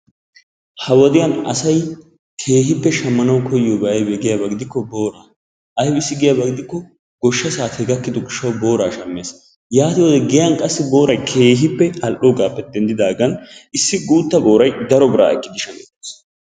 Ha wodiyan asayi keehippe shammanawu koyyiyoobayi aybee giyaaba gidikko booraa. ayibissi giyaaba gidikko goshsha saatee gakkidi gishshawu booraa shammees. yaatiyoodee giyan qassi booray keehippe al"daagaappe denddidaagan issi guutta boorayi daro biraa ekkidi shamettees.